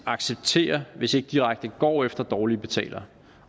accepterer hvis ikke direkte går efter dårlige betalere